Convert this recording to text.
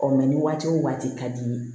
ni waati o waati ka di i ye